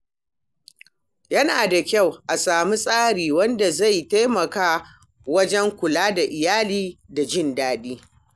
Yana da kyau a sami tsari wanda zai taimaka wajen kula da iyali da jin daɗi.